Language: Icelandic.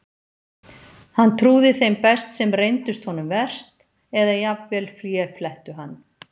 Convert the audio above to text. Hann trúði þeim best sem reyndust honum verst, eða jafnvel féflettu hann.